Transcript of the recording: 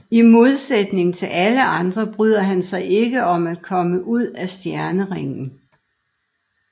I modsætning til alle andre bryder han sig ikke om at komme ud af stjerneringen